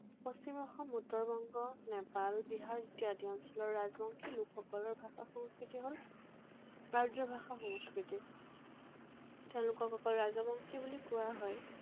পশ্চিম অসম, উত্তৰ বংগ, নেপাল, বিহাৰ ইত্যাদি অঞ্চলৰ ৰাজবংশী লোকসকলৰ ভাষা সংস্কৃতি হল আৰ্য ভাষা সংস্কৃতি। তেওঁলোকক অকল ৰাজবংশী বুলি কোৱা হয়।